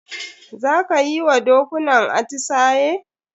Za ka yi wa dokunan atisaye?